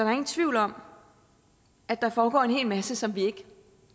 er ingen tvivl om at der foregår en hel masse som vi ikke